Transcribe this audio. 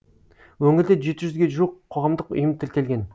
өңірде жеті жүзге жуық қоғамдық ұйым тіркелген